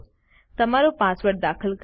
તમારો પાસવર્ડ દાખલ કરો